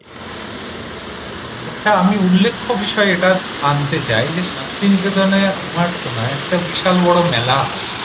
আচ্ছা আমি উল্লেখ্য বিষয় এটা আনতে চাই যে শান্তিনিকেতনে আমার শোনা একটা বিশাল বড় মেলা হয়।